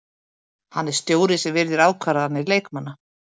Hann er stjóri sem virðir ákvarðanir leikmanna.